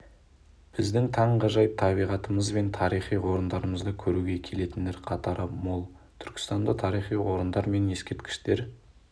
біздің таңғажайып табиғатымыз бен тарихи орындарымызды көруге келетіндер қатары мол түркістанда тарихи орындар мен ескерткіштер